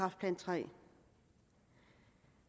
jeg